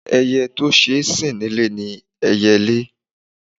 Ẹyẹ́ tí ó ṣeé sìn ní ilé ni ẹyẹlé.